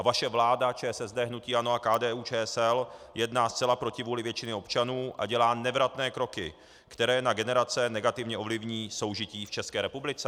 A vaše vláda ČSSD, hnutí ANO a KDU-ČSL jedná zcela proti vůli většiny občanů a dělá nevratné kroky, které na generace negativně ovlivní soužití v České republice.